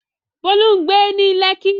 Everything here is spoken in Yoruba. Bolu ń gbé ní Lekki.